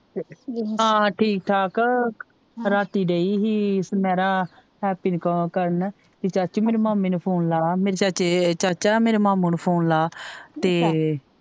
ਹਾਂ ਠੀਕ ਠਾਕ ਰਾਤੀ ਦਈ ਹੀ ਛਮੇਰਾ ਨੂੰ ਕਾਲ ਕਰਨ ਕੇ ਚਾਚੀ ਮੇਰੀ ਮਾਮੀ ਨੂੰ ਲਾ ਮੇਰੀ ਚਾਚੀ ਚਾਚਾ ਮੇਰੇ ਮਾਮੂ ਨੂੰ ਫੋਨ ਲਾ ਤੇ